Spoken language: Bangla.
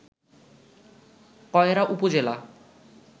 কয়রা উপজেলা